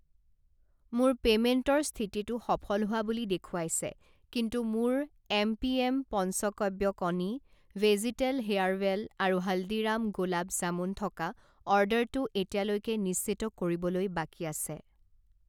মোৰ পে'মেণ্টৰ স্থিতিটো সফল হোৱা বুলি দেখুৱাইছে কিন্তু মোৰ এমপিএম পঞ্চকব্য কণী, ভেজীতেল হেয়াৰৱেল আৰু হালদিৰাম গোলাব জামুন থকা অৰ্ডাৰটো এতিয়ালৈকে নিশ্চিত কৰিবলৈ বাকী আছে।